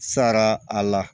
Sara a la